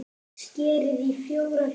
Skerið í fjóra hluta.